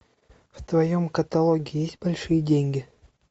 в твоем каталоге есть большие деньги